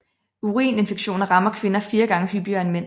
Urinvejsinfektioner rammer kvinder fire gange hyppigere end mænd